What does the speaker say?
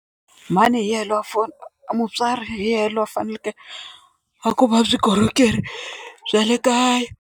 Mhani hi yena lo mutswari hi ye lo a faneleke a kuma vukorhokeri bya le kaya.